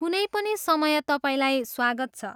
कुनै पनि समय तपाईँलाई स्वागत छ!